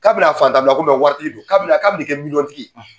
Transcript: Kabinia a fant bila ko ɛ waritigi don kabini kɛ miliyƆtigi ye.